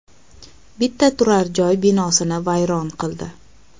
bitta turar-joy binosini vayron qildi.